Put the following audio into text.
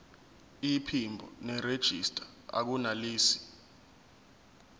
iphimbo nerejista akunelisi